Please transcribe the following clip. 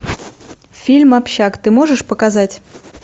фильм общак ты можешь показать